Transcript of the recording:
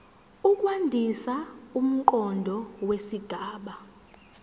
ukwandisa umqondo wesigaba